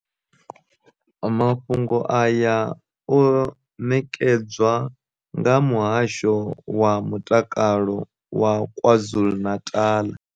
Mafhungo aya o ṋekedzwa nga Muhasho wa Mutakalo wa KwaZulu-Natal.